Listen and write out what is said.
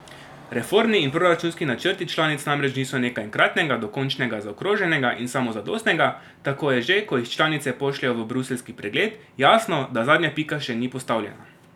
Reformni in proračunski načrti članic namreč niso nekaj enkratnega, dokončnega, zaokroženega in samozadostnega, tako je že, ko jih članice pošljejo v bruseljski pregled, jasno, da zadnja pika še ni postavljena.